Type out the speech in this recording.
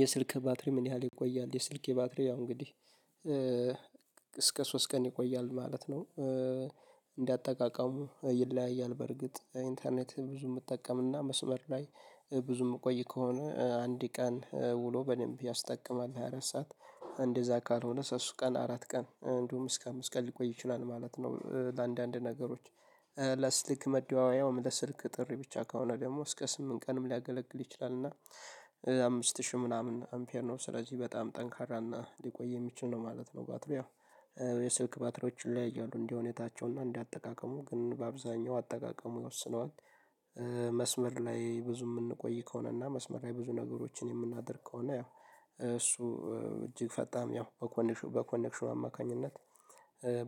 የስልክ ባትሪ ምን ያህል ይቆያል? የስልኬ የባትሪ ያው እንግዲህ እስከ ሶስት ቀን ይቆያል ማለት ነው። እንዳጠቃቀሙ ይለያያል በርግጥ ኢንተርኔት ብዙ የምትጠቀምና መስመር ላይ ብዙ የምቆይ ከሆነ አንድ ቀን ውሎ በደንብ ያስጠቅማል ሃያ አራት ሰዓት አንደዛ ካልሆነ ሶስት ቀን አራት ቀን እንደውም እስከ አምስት ቀን ሊቆይ ይችላል ማለት ነው። ለአንዳንድ ነገሮች ለስልክ መደዋወያ ለስልክ ጥሪ ብቻ ከሆነ ደግሞ እስከ ስምንት ቀንም ሊያገለግል ይችላል። እና አምስት ሺህ ምናምን አምፔር ነው ስለዚህ በጣም ጠንካራ እና ሊቆይ የሚችል ነው ማለት ነው። ባትሪው የስልክ ባትሪዎችን ይለያያሉ እንደሁኔታቸው እንደ አጠቃቀሙ ግን በአብዛኛው አጠቃቀሙ ይወስነዋል። መስመር ላይ ብዙ የምንቆይ ከሆነ እና መስመር ላይ ብዙ ነገሮችን የምናደርግ ከሆነ ያው እሱ እጅግ ፈጣን ያው በኮኔክሽን በኮኔክሽኑ አማካኝነት